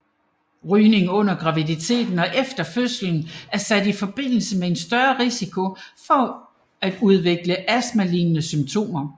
Rygning under graviditeten og efter fødslen er sat i forbindelse med en større risiko for at udvikle astmalignende symptomer